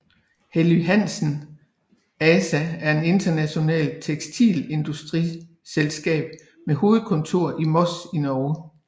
Helly Hansen ASA er et internationalt tekstilindustriselskab med hovedkontor i Moss i Norge